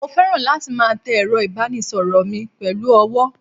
mo feran latí ma té erò ibanísoro mí pelu ọwọ